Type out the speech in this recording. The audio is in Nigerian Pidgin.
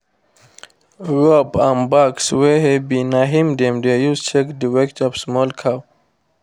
rope and bags wey heavy na im dem dey use check the weight of small cow